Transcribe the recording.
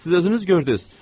Siz özünüz gördünüz.